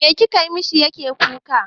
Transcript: Me kika mishi yake kuka?